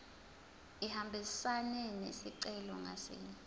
ihambisane nesicelo ngasinye